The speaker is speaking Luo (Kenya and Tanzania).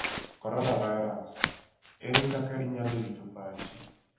Coronavirus: Ere kaka inyalo rito pachi?